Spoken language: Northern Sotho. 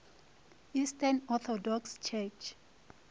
eastern orthodox church